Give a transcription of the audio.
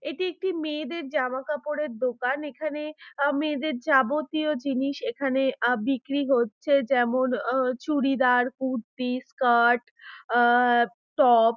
এটি একটি মেয়েদের জামা কাপড়ের দোকান এখানে আ মেয়েদের যাবতীয় জিনিস এখানে আ বিক্রি করচ্ছে। যেমন আ চুড়িদার কুর্তি স্কার্ট আ টপ ।